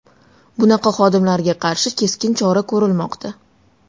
Bunaqa xodimlarga qarshi keskin chora ko‘rilmoqda.